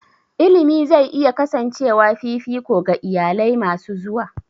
Education is likely to remain a priority for future families.